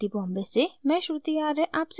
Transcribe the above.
I I T Bombay से मैं श्रुति आर्य आपसे विदा लेती हूँ